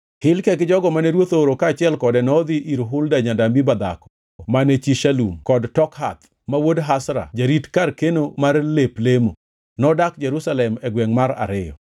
Hilkia gi jogo mane ruoth ooro kaachiel kode nodhi ir Hulda janabi madhako mane chi Shalum wuod Tokhath, ma wuod Hasra jarit kar keno mar lep lemo. Nodak Jerusalem e gwengʼ mar ariyo.